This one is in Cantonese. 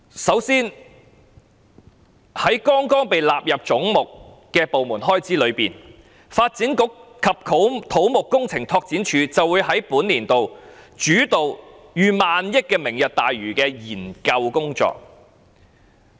首先，在剛剛被納入總目的部門開支中，發展局及土木工程拓展署會在本年度主導逾億元的"明日大嶼願景"的研究工作。